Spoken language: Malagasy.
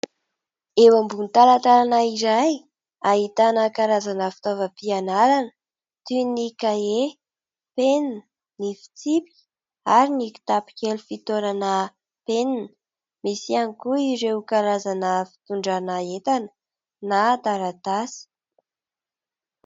Eo ambonin'ny talantalana iray ahitana karazana fitaovam-pianarana toy ny : kahie, penina, ny fitsipika ary ny kitapo kely fitoerana penina misy ihany koa ireo karazana fitondrana entana na taratasy.